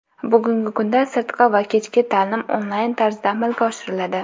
Bugungi kunda sirtqi va kechki ta’lim onlayn tarzda amalga oshiriladi.